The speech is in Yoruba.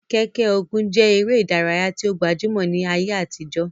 Keke-Ogun je ere idaraya ti o gbajumo ni aye atijo.